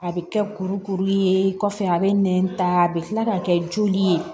A bɛ kɛ kurukuru ye kɔfɛ a bɛ nɛn ta a bɛ kila k'a kɛ joli ye